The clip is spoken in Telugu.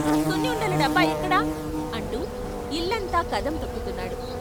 సున్ని ఉండల డబ్బా ఎక్కడ అంటూ ఇల్లంతా కదం తొక్కుతున్నాడు.